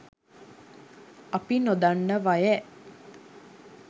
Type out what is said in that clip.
අපි නොදන්නවයැ!